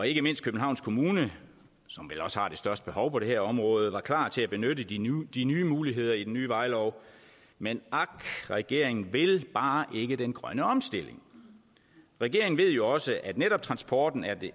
ikke mindst københavns kommune som vel også har det største behov på det her område var klar til at benytte de nye de nye muligheder i den nye vejlov men ak regeringen vil bare ikke den grønne omstilling regeringen ved jo også at netop transporten er